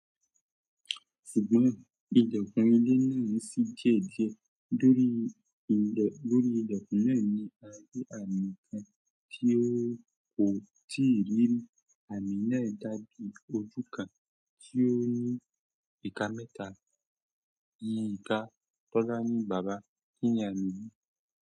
Ṣùgbọ́n, Ìjọngbon ilẹ̀ náà ń ṣí diẹ́diẹ́. Lórí, lórí ilẹ̀kùn náà ni a rí àmí kan tí o kò tíì rí ri. Àmí náà dàbí ojú kan tí ó ní ìka mẹ́ta. Iyi ìka kọ́la ní "Bàbá kíni àmí yiì".